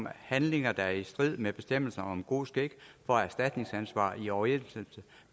handlinger der er i strid med bestemmelserne om god skik for erstatningsansvar i overensstemmelse